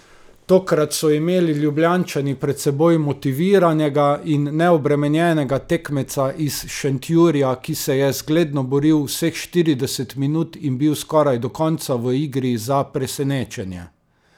Tokrat so imeli Ljubljančani pred seboj motiviranega in neobremenjenega tekmeca iz Šentjurja, ki se je zgledno boril vseh štirideset minut in bil skoraj do konca v igri za presenečenje.